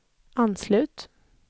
anslut